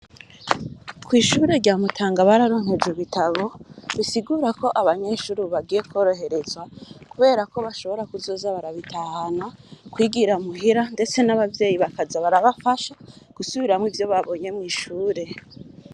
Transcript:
Kw’ishure rya Mutanga, bararonkejwe ibitabo; bisigura ko, abanyeshure, ubu, bagiye kworoherezwa, kubera ko, bashobora kuzoza barabitahana, kwigira muhira, ndetse n'abavyeyi, bakaza barabafasha, gusubiramwo ivyo babonye mw'ishure.